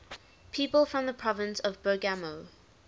people from the province of bergamo